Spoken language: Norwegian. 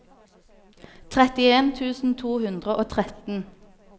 trettien tusen to hundre og tretten